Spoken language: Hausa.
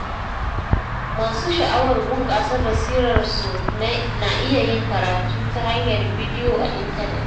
Masu sha’awar bunƙasa basirar su na iya yin karatu ta hanyar bidiyo a intanet.